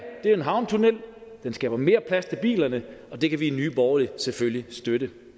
er en havnetunnel den skaber mere plads til bilerne og det kan vi i nye borgerlige selvfølgelig støtte